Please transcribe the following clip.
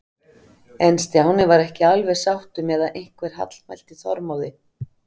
En Stjáni var ekki alveg sáttur með að einhver hallmælti Þormóði.